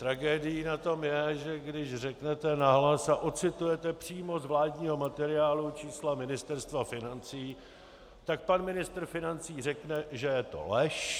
Tragédií na tom je, že když řeknete nahlas a odcitujete přímo z vládního materiálu čísla Ministerstva financí, tak pan ministr financí řekne, že je to lež.